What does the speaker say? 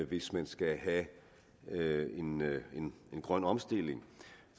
hvis man skal have en grøn omstilling